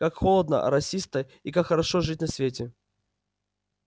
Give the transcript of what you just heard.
как холодно росисто и как хорошо жить на свете